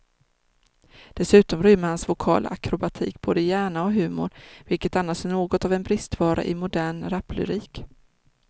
Dessutom rymmer hans vokala akrobatik både hjärna och humor, vilket annars är något av en bristvara i modern raplyrik.